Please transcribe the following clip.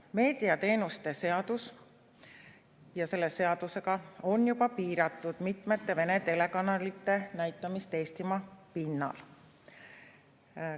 Meediateenuste seadusega on juba piiratud mitmete Vene telekanalite näitamist Eesti pinnal.